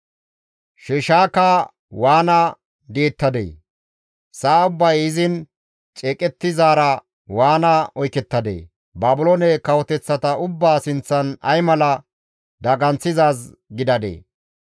«Sheshaaka waana di7ettadee! Sa7a ubbay izin ceeqettizaara waana oykettadee! Baabilooney kawoteththata ubbaa sinththan ay mala daganththizaaz gidadee!